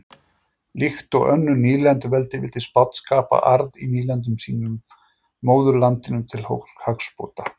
Líkt og önnur nýlenduveldi vildi Spánn skapa arð í nýlendum sínum móðurlandinu til hagsbóta.